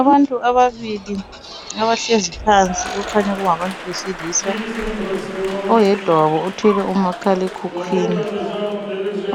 Abantu ababili abahlezi phansi okukhanya kungabantu besilisa. Oyedwa wabo othwele umakhalekhukhwini,